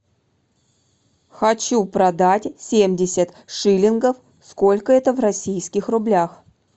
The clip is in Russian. хочу продать семьдесят шиллингов сколько это в российских рублях